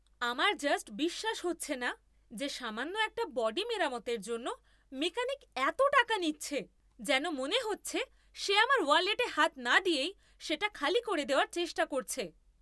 আমার জাস্ট বিশ্বাস হচ্ছে না যে সামান্য একটা বডি মেরামতের জন্য মেকানিক এতো টাকা নিচ্ছে! যেন মনে হচ্ছে সে আমার ওয়ালেটে হাত না দিয়েই সেটা খালি করে দেওয়ার চেষ্টা করছে!